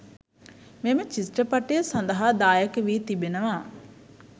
මේ චිත්‍රපටය සදහා දායක වි තිබෙනවා